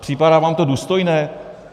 Připadá vám to důstojné?